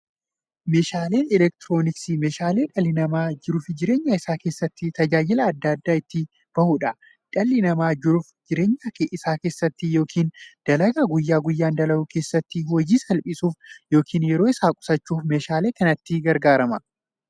Meeshaaleen elektirooniksii meeshaalee dhalli namaa jiruuf jireenya isaa keessatti, tajaajila adda addaa itti bahuudha. Dhalli namaa jiruuf jireenya isaa keessatti yookiin dalagaa guyyaa guyyaan dalagu keessatti, hojii isaa salphissuuf yookiin yeroo isaa qusachuuf meeshaalee kanatti gargaarama.